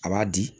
A b'a di